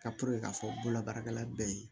Ka k'a fɔ bololabaarakɛla bɛɛ ye